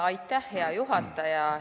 Aitäh, hea juhataja!